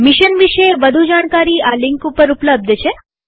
mission વિષે વધુ જાણકારી આ લિંક ઉપર ઉપલબ્ધ છે